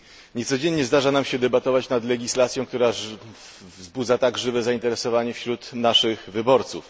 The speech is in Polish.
Nie codziennie zdarza nam się debatować nad legislacją, która wzbudza tak żywe zainteresowanie wśród naszych wyborców.